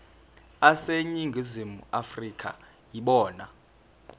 aseningizimu afrika yibona